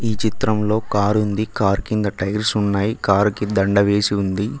ఈ చిత్రంలో కారుంది కార్ కింద టైర్స్ ఉన్నాయి కార్ కి దండ వేసి ఉంది